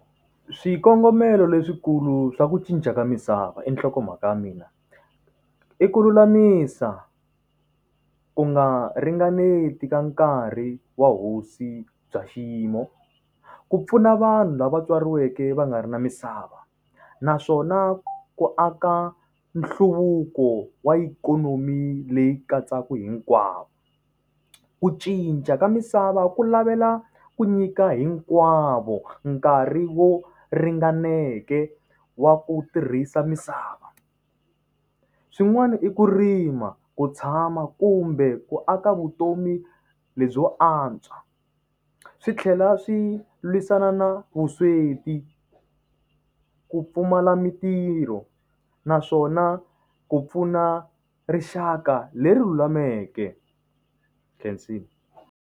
Swikongomelo leswikulu swa ku cinca ka misava. I nhlokomhaka ya mina. I ku lulamisa, ku nga ringaneti ka nkarhi wa hosi bya xiyimo. Ku pfuna vanhu lava tswariweke va nga ri na misava naswona ku aka nhluvuko wa ikhonomi leyi katsaka hinkwavo. Ku cinca ka misava ku lavela ku nyika hinkwavo nkarhi wo ringaneke wa ku tirhisa misava. Swin'wana i ku rima, ku tshama, kumbe ku aka vutomi lebyo antswa. Swi tlhela swi lwisana na vusweti, ku pfumala mintirho, naswona ku pfuna rixaka leri lulameke. khensile.